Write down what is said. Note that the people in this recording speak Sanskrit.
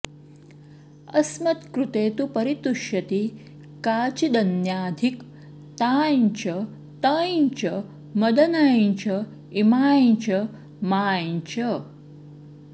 अस्मत्कृते तु परितुष्यति काचिदन्या धिक् तां च तं च मदनं च इमां च मां च